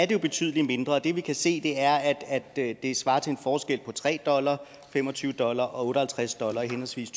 jo betydelig mindre og det vi kan se er at at det svarer til en forskel på tre dollar fem og tyve dollar og og halvtreds dollar i henholdsvis